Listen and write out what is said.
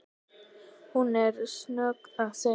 Hún er stöðugt að segja